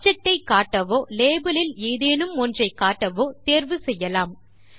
object ஐ காட்டவோ label இல் ஏதேனும் ஒன்றை காட்டவோ தேர்வு செய்யலாம்